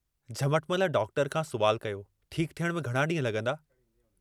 Jhamatmal doctor खां सवालु कयो, ठीक थियण में घणा ड्रींह लगंदा?